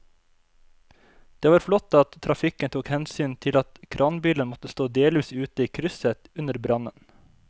Det var flott at trafikken tok hensyn til at kranbilen måtte stå delvis ute i krysset under brannen.